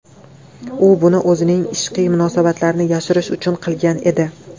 U buni o‘zining ishqiy munosabatlarini yashirish uchun qilgan edi.